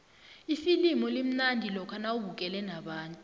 ifilimu limnandi lokha nawubukele nabantu